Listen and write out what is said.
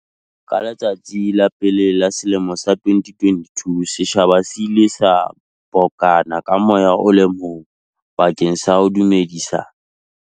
Ka letsatsi la pele la selemo sa 2022, setjhaba se ile sa bokana ka moya o le mong bakeng sa ho dumedisa.